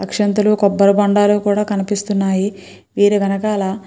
అక్షింతలు కొబ్బరిబొండాలు కూడా కనిపిస్తున్నాయి మీరు అలా --